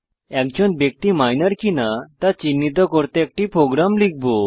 একজন ব্যক্তি মাইনর কিনা তা চিহ্নিত করতে একটি প্রোগ্রাম লিখব